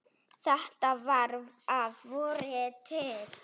Þetta var að vori til.